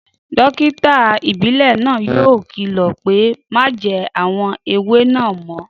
Dókítà ìbílẹ̀ náà yóò kìlọ̀ pé Má jẹ àwọn ewé náà mọ́